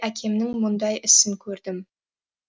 әкемнің мұндай ісін көрдім